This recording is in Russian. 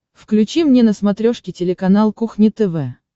включи мне на смотрешке телеканал кухня тв